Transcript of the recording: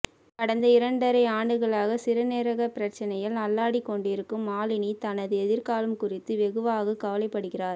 கடந்த இரணடரை ஆண்டுகளாக் சிறுநீரகப்பிரச்சனயில் அல்லாடிக் கொண்டிருக்கும் மாலினி தனது எதிர்க்காலம் குறித்து வெகுவாகவே கவலைப்படுகிறார்